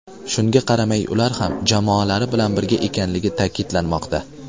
Shunga qaramay ular ham jamoalari bilan birga ekanligi ta’kidlanmoqda.